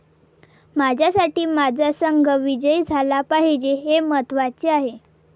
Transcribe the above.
माझ्यासाठी माझा संघ विजयी झाला पाहिजे हे महत्त्वाचे आहे.